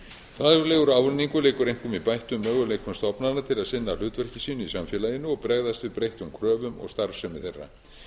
faglegur ávinningur liggur einkum í bættum möguleikum stofnana til að sinna hlutverki sínu í samfélaginu og bregðast við breyttum kröfum og starfsemi þeirra